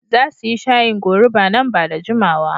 Za su yi shayin goruba nan ba da jimawa.